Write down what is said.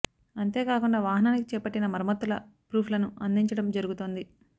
అంతే కాకుండా వాహనానికి చేపట్టిన మరమ్మతుల ప్రూఫ్ లను అందించడం జరుగుతోంది